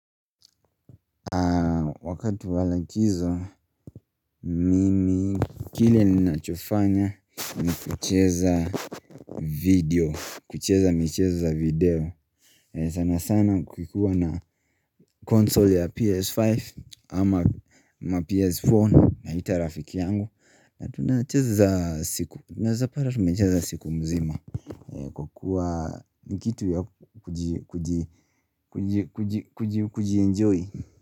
Wakati wa likizo mimi kile ninachofanya nikucheza video. Kucheza michezo ya video. Sana sana kukiwa na console ya PS5 ama PS4 naita rafiki yangu na tunacheza siku tunawezapata tumecheza siku nzima kukuwa ni kitu ya kujienjoy.